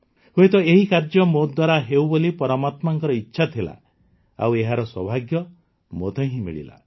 ହୁଏତ ଏହି କାର୍ଯ୍ୟ ମୋ ଦ୍ୱାରା ହେଉ ବୋଲି ପରମାତ୍ମାଙ୍କ ଇଚ୍ଛା ଥିଲା ଆଉ ଏହାର ସୌଭାଗ୍ୟ ମୋତେ ହିଁ ମିଳିଲା